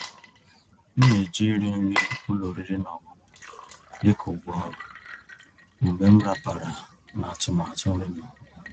M ná-èjí íri nrí ụ́lọ̀ ọ̀rị́rị́ ná ọ̀ṅụ̀ṅụ̀ dị́ kà ụ̀gwọ́ ọ̀rụ́ mgbe m ràpàrà ná àtụ̀màtụ́ nrí m.